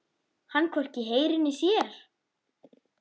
Hann hvorki heyrir né sér.